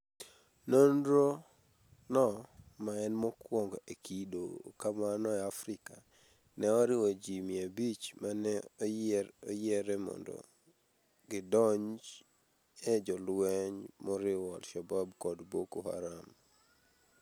Nonro no, maen mokuongo e kido kamano e Afrika, ne oriwo ji 500 mane oyiere mondo gidonj e jolweny moriwo al-Shabab kod Boko Haram.